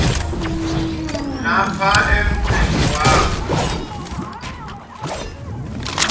lapha emtini wakho